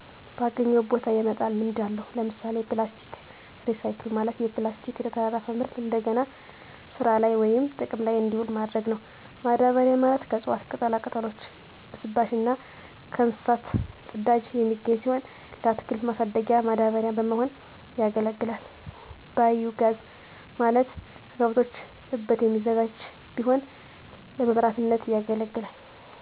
ባገኘው ቦታ የመጣል ልምድ አለው። ለምሣሌ፦ ፕላስቲክ ሪሳይክል፦ ማለት የፕላስቲክ ተረፈ ምርት እደገና ስራላይ ወይም ጥቅም ላይ እዲውሉ ማድረግ ነው። ማዳበሪያ፦ ማለት ከእፅዋት ቅጠላቅጠሎች ብስባሽ እና ከእንስሳት ፅዳጅ የሚገኝ ሲሆን ለአትክልት ማሣደጊያ ማዳበሪያ በመሆን ያገለግላል። ባዬ ጋዝ፦ ማለት ከከብቶች እበት የሚዘጋጅ ቢሆን ለመብራትነት ያገለግላል።